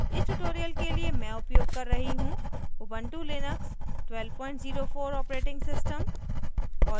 इस tutorial के लिए मैं उपयोग कर रही हूँ * ubuntu लिनक्स 1204 os